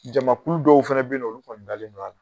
Jamakulu dɔw fɛnɛ be yen nɔ olu kɔni dalen don a la.